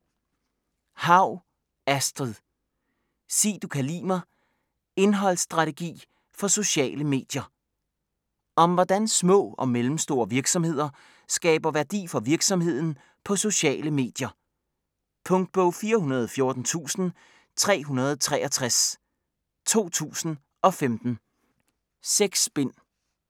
Haug, Astrid: Sig du kan li' mig: indholdsstrategi for sociale medier Om hvordan små og mellemstore virksomheder skaber værdi for virksomheden på sociale medier. Punktbog 414363 2015. 6 bind.